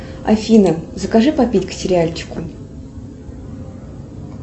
афина закажи попить к сериальчику